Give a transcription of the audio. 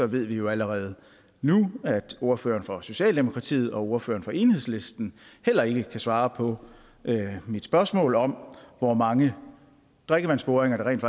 ved vi jo allerede nu at ordføreren for socialdemokratiet og ordføreren for enhedslisten heller ikke kan svare på mit spørgsmål om hvor mange drikkevandsboringer der rent